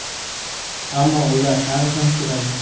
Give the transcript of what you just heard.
Ammo ular hali ham chiroyli.